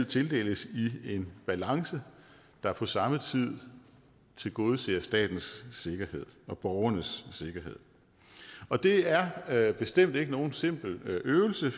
tildeles i en balance der på samme tid tilgodeser statens sikkerhed og borgernes sikkerhed og det er er bestemt ikke nogen simpel øvelse